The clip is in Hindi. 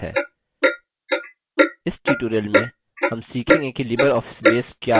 इस tutorial में हम सीखेंगे कि libreoffice base क्या है